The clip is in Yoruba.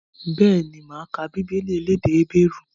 Bẹ́ẹ̀ni, máa ka Bíbélì elédè Hébérù